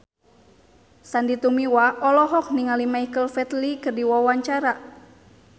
Sandy Tumiwa olohok ningali Michael Flatley keur diwawancara